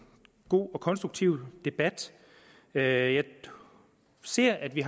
god og konstruktiv debat jeg jeg ser at vi